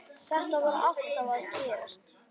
Þetta var alltaf að gerast.